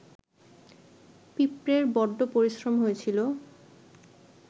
পিঁপড়ের বড্ড পরিশ্রম হয়েছিল